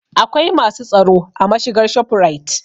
Akwai masu tsaro a mashigar shofurait